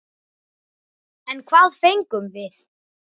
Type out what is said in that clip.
En hvað fengum við?